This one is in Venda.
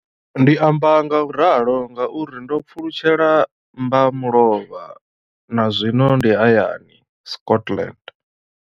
Ndi amba ngauralo nga uri ndo pfulutshela mmba mulovha na zwino ndi hayani, Scotland.